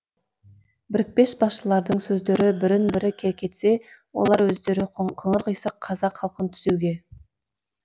бірікпес басшылардың сөздері бірін бірі кекетсе олар өздері қыңыр қисық қазақ халқын түзеуге